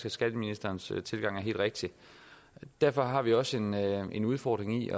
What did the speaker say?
at skatteministerens tilgang er helt rigtig derfor har vi også en en udfordring i